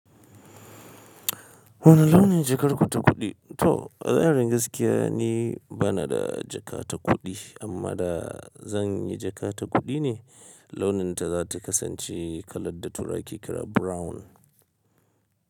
Wane launin jakar ku ta kuɗi? To, magana na gaskiya nibana da jaka ta kuɗi amma da zan yi jaka ta kuɗi ne launinta za ta kasance kalar da turawa ke kira brown.